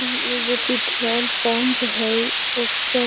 ई एगो petrol pump हई ओकर --